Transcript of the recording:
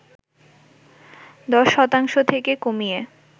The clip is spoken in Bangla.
১০ শতাংশ থেকে কমিয়ে